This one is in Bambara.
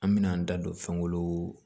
An mɛna an da don fɛn wolon